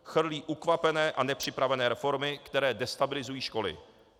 Chrlí ukvapené a nepřipravené reformy, které destabilizují školy.